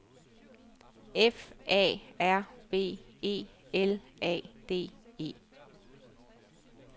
F A R V E L A D E